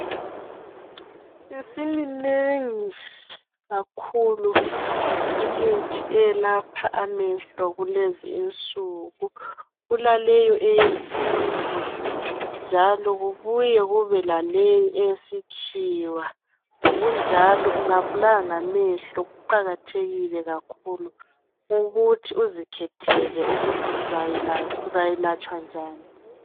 Isiminengi kakhulu imithi eyelapha amehlo kulezi insuku kulaleyo eyesintu njalo kubuye kube laleyo eyesikhiwa ngokunjalo ungabulawa ngamehlo kuqakathekile kakhulu ukuthi uzikhethele ukuthi uzayelatshwa njani.